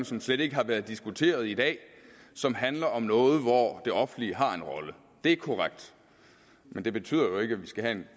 som slet ikke har været diskuteret i dag som handler om noget hvor det offentlige har en rolle det er korrekt men det betyder jo ikke at vi skal have en